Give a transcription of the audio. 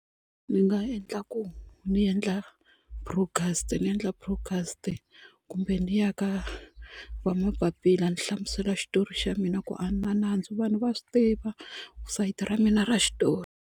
Ni nga endla ku ni endla broadcast ni endla broadcast kumbe ni ya ka va mapapila ni hlamusela xitori xa mina ku a ni na nandzu vanhu va swi tiva sayiti ra mina ra xitori.